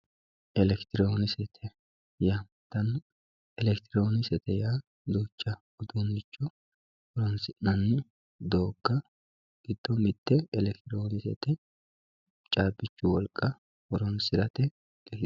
elekitiroonikisete yaamantanno elekitiroonikisete duucha uduunnicho horonsinna doogga giddo mitte elekitiroonikisete caabboichu wolqa horonsirate..